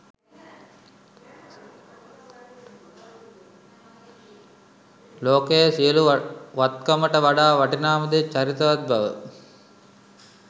ලෝකයේ සියලු වත්කමට වඩා වටිනාම දේ චරිතවත් බව